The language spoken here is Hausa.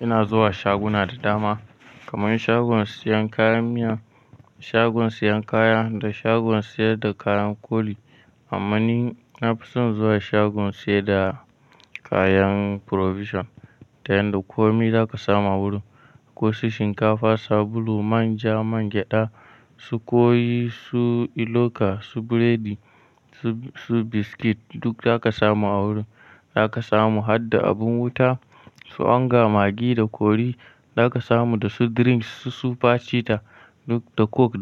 Ina zuwa shaguna da dama, kaman shagon siyan kayan miya, shagon siyan kaya da shagon siyar da kayan koli. Amma ni na fi son zuwa shagon siyar da kayan provision ta yanda komai za ka samu a wurin, ko su shinkafa, sabulu, manja, manja, man gyaɗa, su koyi, su iloka, su biredi, su biskit duk za ka samu a wurin. Za ka samu har da abun wuta, su onga, maggi da kori za ka samu da su drinks, su superchita.